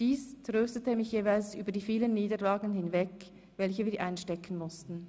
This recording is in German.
Dies tröstete mich jeweils über die vielen Niederlagen hinweg, welche wir einstecken mussten.